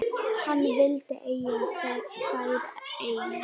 Hann vildi eiga þær einn.